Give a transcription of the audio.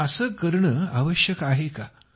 पण असे करणे आवश्यक आहे का